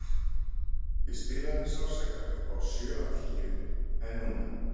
Ég spilaði með sársauka upp á sjö af tíu en núna?